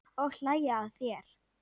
Og hlæja að þér.